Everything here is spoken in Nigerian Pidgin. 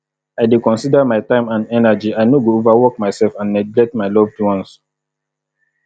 i dey consider my time and energy i no go overwork myself and neglect my loved ones